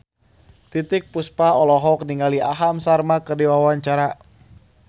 Titiek Puspa olohok ningali Aham Sharma keur diwawancara